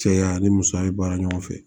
Cɛya ni musoya ye baara ɲɔgɔn fɛ